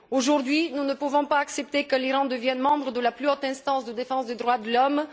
Aujourd'hui, nous ne pouvons accepter que l'Iran devienne membre de la plus haute instance de défense des droits de l'homme.